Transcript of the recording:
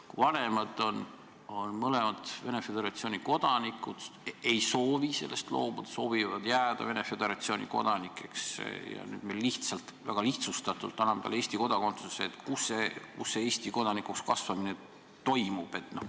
Kui mõlemad vanemad on Venemaa Föderatsiooni kodanikud ja ei soovi sellest staatusest loobuda, vaid soovivad jääda Venemaa Föderatsiooni kodanikeks, ja nüüd me lihtsalt, väga lihtsustatult anname nende lapsele Eesti kodakondsuse, siis kus see Eesti kodanikuks kasvamine toimub?